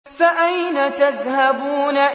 فَأَيْنَ تَذْهَبُونَ